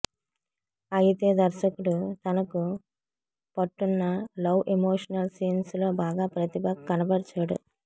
అయితే దర్శకుడు తనకు పట్టున్న లవ్ ఎమోషనల్ సీన్స్ లో బాగా ప్రతిభ కనబరిచాడు